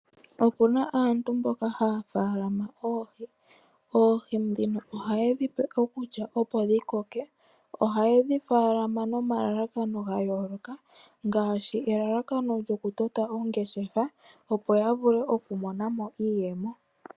Opuna aantu mboka haya faalama oohi. Oohi ndhino ohayedhi pe okulya opo dhikoke . Ohayedhi faalama nomalalakano gayooloka ngaashi elalakano lyokutota ongeshefa opo yavule okumonamo iiyemo.